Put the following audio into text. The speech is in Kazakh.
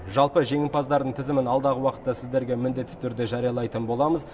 жалпы жеңімпаздардың тізімін алдағы уақытта сіздерге міндетті түрде жариялайтын боламыз